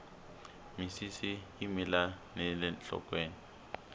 misisi yi mila nile nhlokweni